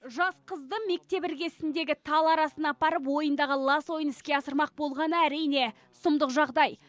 жас қызды мектеп іргесіндегі тал арасына апарып ойындағы лас ойын іске асырмақ болғаны әрине сұмдық жағдай